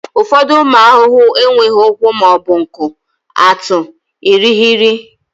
ụfọdụ ụmụ ahụhụ enweghị ụkwụ ma ọ bụ nku atụ irighiri